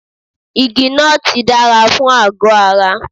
Igi nọ́ọ̀tì dára fún àgọ́ ara.